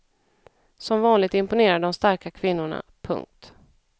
Som vanligt imponerar de starka kvinnorna. punkt